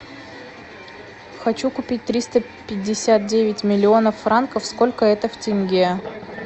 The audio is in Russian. хочу купить триста пятьдесят девять миллионов франков сколько это в тенге